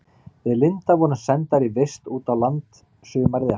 Við Linda vorum sendar í vist út á land sumarið eftir.